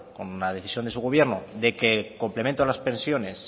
con la decisión de su gobierno de que el complemento a las pensiones